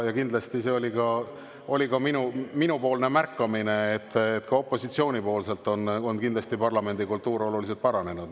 Ja kindlasti ma olen ka märganud, et opositsiooni poolelt on parlamendikultuur oluliselt paranenud.